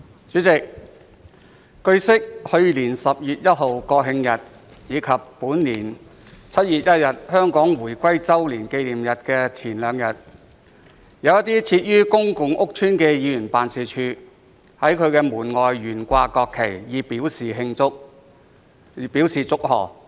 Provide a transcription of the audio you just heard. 主席，據悉，去年10月1日國慶日及本年7月1日香港回歸週年紀念日的前兩天，有一些設於公共屋邨的議員辦事處在其門外懸掛國旗，以表祝賀。